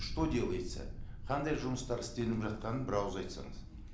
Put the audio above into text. что делается қандай жұмыстар істелініп жатқанын бір ауыз айтсаңыз